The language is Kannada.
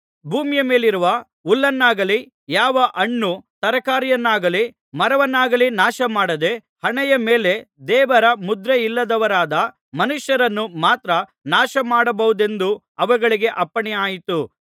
ಭೂಮಿಯ ಮೇಲಿರುವ ಹುಲ್ಲನ್ನಾಗಲಿ ಯಾವ ಹಣ್ಣು ತರಕಾರಿಗಳನ್ನಾಗಲಿ ಮರವನ್ನಾಗಲಿ ನಾಶಮಾಡದೆ ಹಣೆಯ ಮೇಲೆ ದೇವರ ಮುದ್ರೆಯಿಲ್ಲದವರಾದ ಮನುಷ್ಯರನ್ನು ಮಾತ್ರ ನಾಶಮಾಡಬಹುದೆಂದು ಅವುಗಳಿಗೆ ಅಪ್ಪಣೆಯಾಯಿತು